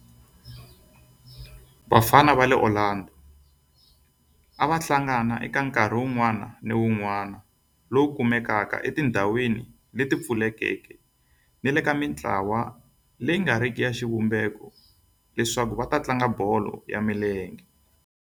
Vafana va le Orlando a va hlangana eka nkarhi wun'wana ni wun'wana lowu kumekaka etindhawini leti pfulekeke ni le ka mintlawa leyi nga riki ya xivumbeko leswaku va tlanga bolo ya milenge.